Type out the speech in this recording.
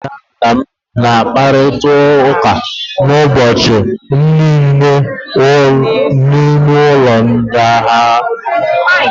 Nne m na nna m na-akparịta ụka ụbọchị niile n'ime ụlọ ndina ha.